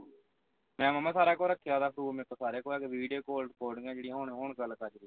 ਮੈਂ ਮਾਮਾ ਰੱਖਿਆ ਉਸ ਦਾ ਸਾਰਾ proof ਮੇਰੇ ਕੋਲ ਸਾਰਾ ਕੁਝ ਹੈਗਾ video call recording ਜਿਹੜੀਆਂ ਹੋਣ ਹੋਣ ਗੱਲ ਕਰਦੀ ਪਈ